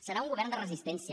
serà un govern de resistència